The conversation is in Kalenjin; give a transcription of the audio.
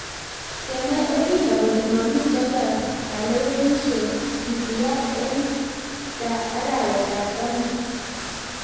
kemwai Odinga kole mamito kalewenishe kisiya eng za arawet ab taman